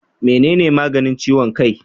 Menene maganin ciwon kai?